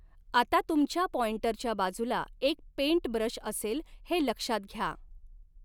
आता तुमच्या पाँईंटरच्या बाजूला एक पेंटब्रश असेल हे लक्षात घ्या.